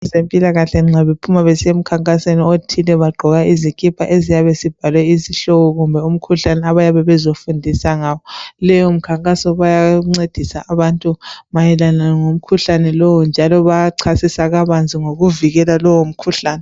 Kwezempilakahle nxa bephuma besiya emkhankasweni othile bagqoka izikipa eziyabe sibhalwe isihloko kumbe umkhuhlane abayabe bezofundisa ngawo. Leyo mkhankaso bayancedisa abantu mayelana ngomkhuhlane lo njalo bayachasisa kabanzi ngokuvikela lalowo mkhuhlane.